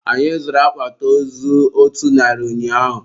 Anyị zụrụ akpati ozu otu narị ụnyaahụ.